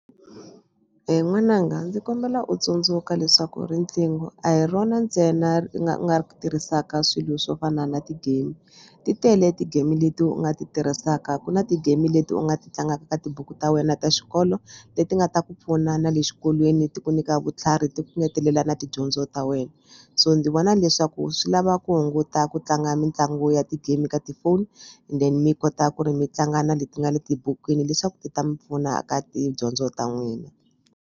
N'wananga ndzi kombela u tsundzuka leswaku riqingho a hi rona ntsena u nga u nga ri tirhisaka swilo swo fana na ti-game. Ti tele ti-game leti u nga ti tirhisaka ku na ti-game leti u nga ti tlangaka ka tibuku ta wena ta xikolo leti nga ta ku pfuna na le xikolweni ti ku nyika vutlhari ti ku ngetelela na tidyondzo ta wena so ndzi vona leswaku swi lava ku hunguta ku tlanga mitlangu ya ti-game ka tifoni then mi kota ku ri mi tlanga na leti nga le tibukwini leswaku ti ta mi pfuna ka tidyondzo ta n'wina.